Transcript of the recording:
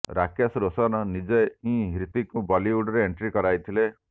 ରାକେସ ରୋଶନ୍ ନିଜେ ହିଁ ହ୍ରିତିକଙ୍କୁ ବଲିଉଡରେ ଏଣ୍ଟ୍ରି କରାଇଥିଲେ